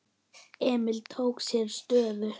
Emil tók sér stöðu.